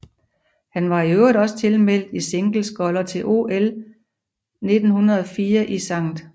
Han var i øvrigt også tilmeldt i singlesculler til OL 1904 i St